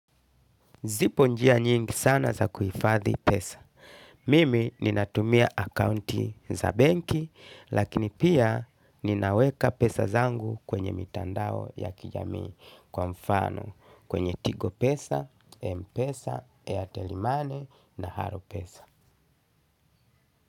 Zipo njia nyingi sana za kuhifadhi pesa. Mimi ninatumia akaunti za benki lakini pia ninaweka pesa zangu kwenye mitandao ya kijamii kwa mfano kwenye tigo pesa, mpesa, airtel money na haro pesa.